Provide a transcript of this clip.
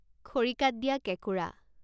খৰিকাত দিয়া কেঁকুৰা